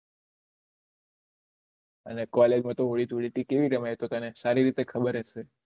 અને કોલેજ માં તો હોળી ધૂળેટી કેવી રમાય એ તો તને સારી રીતે ખબર જ છે